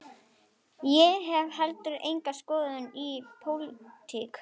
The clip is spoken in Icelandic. Ég hef heldur enga skoðun á pólitík.